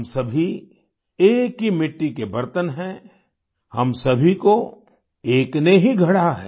हम सभी एक ही मिट्टी के बर्तन हैं हम सभी को एक ने ही गढ़ा है